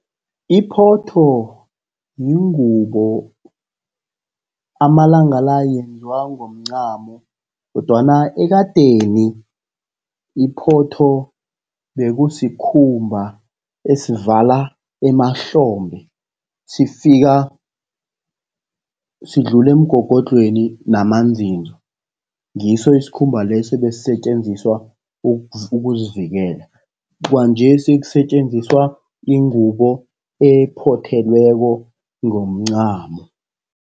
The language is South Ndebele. Iphotho yingubo, amalanga la yenziwa ngomncamo, kodwana ekadeni iphotho bekusikhumba esivala emahlombe sifika sidlula emgogodlheni namanzinzo. Ngiso isikhumba leso ebesisetjenziswa ukuzivikela. Kwanjesi kusetjenziswa ingubo ephothelweko ngomncamo.